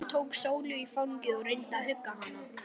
Jón tók Sólu í fangið og reyndi að hugga hana.